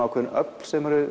ákveðin öfl sem eru